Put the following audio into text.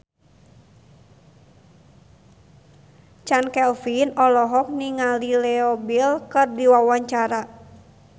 Chand Kelvin olohok ningali Leo Bill keur diwawancara